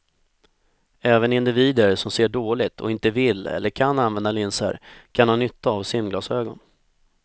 Även individer som ser dåligt och inte vill eller kan använda linser kan ha nytta av simglasögon.